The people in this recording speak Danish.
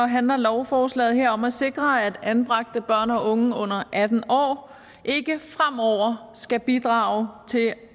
handler lovforslaget her om at sikre at anbragte børn og unge under atten år ikke fremover skal bidrage til